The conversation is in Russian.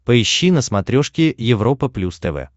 поищи на смотрешке европа плюс тв